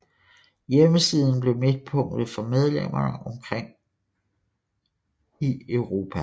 Hjemmesiden blev midtpunktet for medlemmerne omkring i Europa